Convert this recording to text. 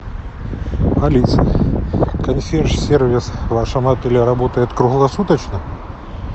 алиса консьерж сервис в вашем отеле работает круглосуточно